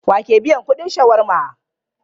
Wa ke biyan kudin shawarma?